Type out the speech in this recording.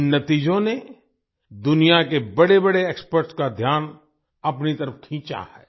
इन नतीजों ने दुनिया के बड़ेबड़े एक्सपर्ट्स का ध्यान अपनी तरफ खींचा है